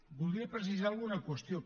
voldria precisar alguna qüestió